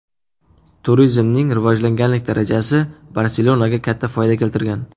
Turizmning rivojlanganlik darajasi Barselonaga katta foyda keltirgan.